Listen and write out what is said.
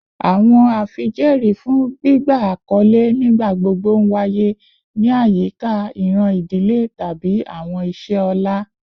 Awọn afijẹẹri fun gbigba akọle nigbagbogbo nwaye ni ayika iran idile tabi awọn iṣẹ ọlá